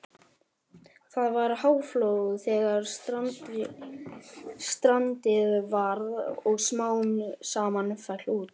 Það var háflóð þegar strandið varð og smám saman féll út.